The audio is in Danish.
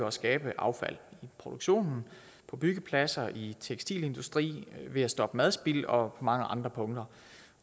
at skabe affald i produktionen på byggepladser og i tekstilindustri ved at stoppe madspild og mange andre punkter